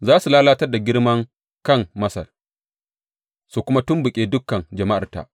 Za su lalatar da girman kan Masar, su kuma tumɓuke dukan jama’arta.